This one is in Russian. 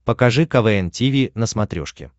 покажи квн тиви на смотрешке